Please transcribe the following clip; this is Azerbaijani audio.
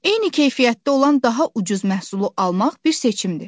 Eyni keyfiyyətdə olan daha ucuz məhsulu almaq bir seçimdir.